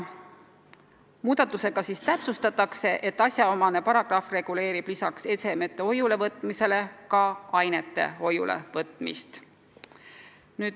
Muudatusega täpsustatakse, et see paragrahv reguleerib lisaks esemete hoiulevõtmisele ka ainete hoiulevõtmist.